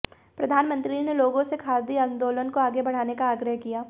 प्रधानमंत्री ने लोगों से खादी आंदोलन को आगे बढ़ाने का आग्रह किया